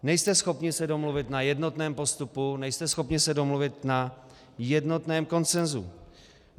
Nejste schopni se domluvit na jednotném postupu, nejste schopni se domluvit na jednotném konsenzu.